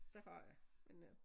Det har jeg men øh